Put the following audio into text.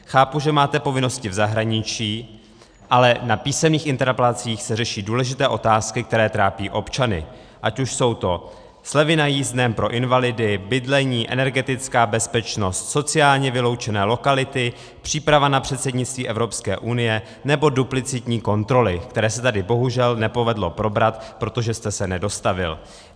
Chápu, že máte povinnosti v zahraničí, ale na písemných interpelacích se řeší důležité otázky, které trápí občany, ať už jsou to slevy na jízdném pro invalidy, bydlení, energetická bezpečnost, sociálně vyloučené lokality, příprava na předsednictví Evropské unie nebo duplicitní kontroly, které se tady bohužel nepovedlo probrat, protože jste se nedostavil.